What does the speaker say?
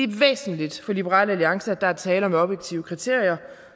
væsentligt for liberal alliance at der er tale om objektive kriterier